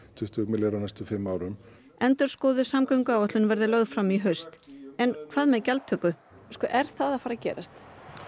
tuttugu milljarð a á næstu fimm árum endurskoðuð samgönguáætlun verði lögð fram í haust en hvað með gjaldtöku er það að fara að gerast